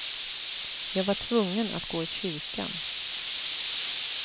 Jag var tvungen att gå i kyrkan.